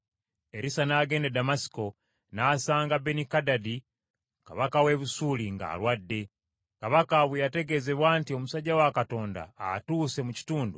Erisa n’agenda e Ddamasiko n’asanga Benikadadi kabaka w’e Busuuli ng’alwadde. Kabaka bwe yategeezebwa nti, “Omusajja wa Katonda atuuse mu kitundu,”